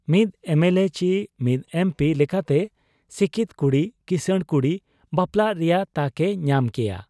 ᱢᱤᱫ ᱮᱢᱮᱞᱮ ᱪᱤ ᱢᱤᱫ ᱮᱢᱯᱤ ᱞᱮᱠᱟᱛᱮ ᱥᱤᱠᱤᱛ ᱠᱩᱲᱤᱹ ᱠᱤᱥᱟᱹᱬ ᱠᱩᱲᱤ ᱵᱟᱯᱞᱟᱜ ᱨᱮᱭᱟᱜ ᱛᱟᱠ ᱮ ᱧᱟᱢ ᱠᱮᱭᱟ ᱾